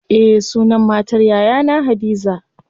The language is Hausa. Eh sunan matar yayana hadiza.